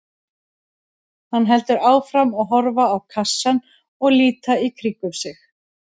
Hann heldur áfram að horfa á kassann og líta í kringum sig.